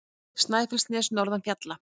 Snæfellsnes norðan fjalla.